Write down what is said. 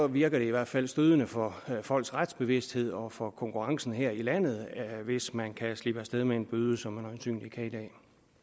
virker det i hvert fald stødende for folks retsbevidsthed og dårligt for konkurrencen her i landet hvis man kan slippe afsted med en bøde som man øjensynligt kan